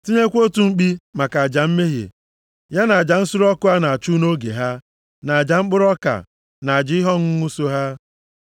Tinyekwa otu mkpi maka aja mmehie, ya na aja nsure ọkụ a na-achụ nʼoge ha, na aja mkpụrụ ọka, na aja ihe ọṅụṅụ so ha.